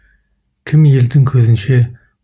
кім елдің көзінше